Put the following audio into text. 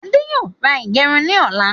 Ade yóò ra ìgẹrun ni ọ̀la